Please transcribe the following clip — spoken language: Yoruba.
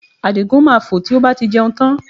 Àdìgún máa fò tí ó bá ti jẹun tán